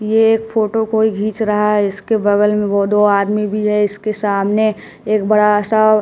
ये एक फोटो कोई घीच रहा है इसके बगल में वो दो आदमी भी है इसके सामने एक बड़ा सा--